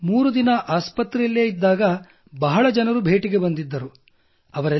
ನಾನು ಮೂರು ದಿನ ಆಸ್ಪತ್ರೆಯಲ್ಲಿಯೇ ಇದ್ದಾಗ ಬಹಳ ಜನರು ಭೇಟಿಗೆ ಬಂದಿದ್ದರು